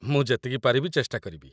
ମୁଁ ଯେତିକି ପାରିବି ଚେଷ୍ଟା କରିବି ।